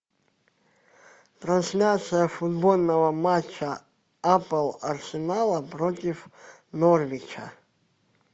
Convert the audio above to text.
трансляция футбольного матча апл арсенала против норвича